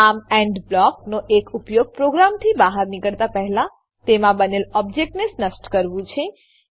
આમ એન્ડ બ્લોકનો એક ઉપયોગ પ્રોગ્રામથી બહાર નીકળતા પહેલા તેમાં બનેલ ઓબ્જેક્ટોને નષ્ટ કરવું છે